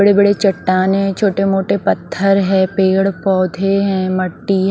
बड़े बड़े चट्टानें छोटे मोटे पत्थर है पेड़ पौधे हैं मट्टी--